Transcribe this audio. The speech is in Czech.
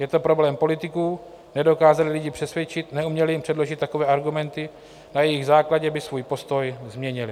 Je to problém politiků - nedokázali lidi přesvědčit, neuměli jim předložit takové argumenty, na jejichž základě by svůj postoj změnili.